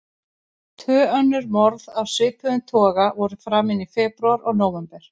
Tvö önnur morð af svipuðum toga voru framin í febrúar og nóvember.